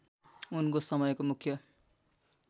उनको समयको मुख्य